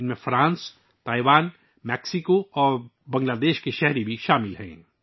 ان میں France, Taiwan, Mexico اور Bangladesh کے شہری بھی شامل ہیں